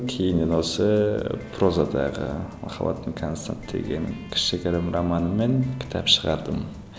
кейіннен осы прозадағы махаббатым констант деген кішігірім романыммен кітап шығардым